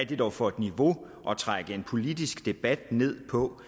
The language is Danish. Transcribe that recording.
det dog for et niveau at trække en politisk debat ned på